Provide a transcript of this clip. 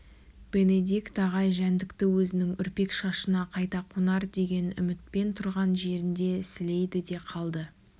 бенедикт ағай жәндікті өзінің үрпек шашына қайта қонар деген үмітпен тұрған жерінде сілейді де қалды